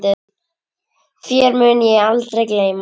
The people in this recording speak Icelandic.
Þér mun ég aldrei gleyma.